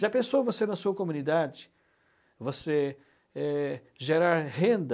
Já pensou você na sua comunidade, você eh, gerar renda?